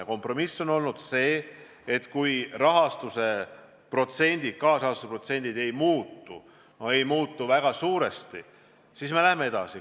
Ja kompromiss on olnud see, et kui kaasrahastuse protsent ei muutu või ei muutu vähemalt väga suuresti, siis me läheme projektiga edasi.